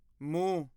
ਮੂੰਹ